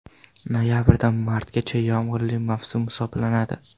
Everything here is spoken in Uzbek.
Noyabrdan martgacha yomg‘irli mavsum hisoblanadi.